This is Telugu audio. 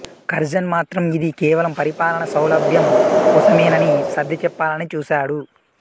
కర్జన్ మాత్రం ఇది కేవలం పరిపాలనా సౌలభ్యం కోసమేనని సర్ది చెప్పాలని చూశాడు